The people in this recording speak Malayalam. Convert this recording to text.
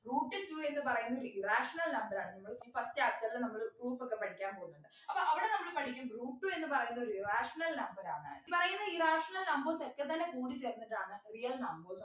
root two എന്ന് പറയുന്ന ഒര് irrational number ആണ് നിങ്ങൾക്ക് first chapter ലു നമ്മള് proof ഒക്കെ പഠിക്കാൻ പോകുന്നുണ്ട് അപ്പോ അവിടെ നമ്മള് പഠിക്കും root two എന്ന് പറയുന്നത് ഒരു irrational number ആണ് ഈപറയുന്ന irrational numbers ഒക്കെത്തന്നെ കൂടിച്ചേർന്നിട്ടാണ് real numbers